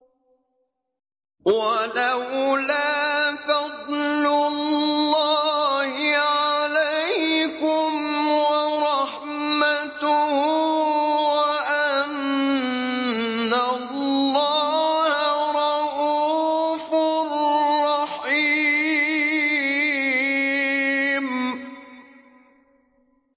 وَلَوْلَا فَضْلُ اللَّهِ عَلَيْكُمْ وَرَحْمَتُهُ وَأَنَّ اللَّهَ رَءُوفٌ رَّحِيمٌ